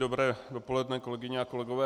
Dobré dopoledne, kolegyně a kolegové.